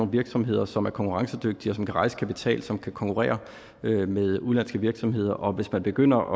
virksomheder som er konkurrencedygtige som kan rejse kapital som kan konkurrere med med udenlandske virksomheder og hvis man begynder